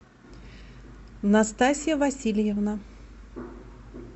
настасья васильевна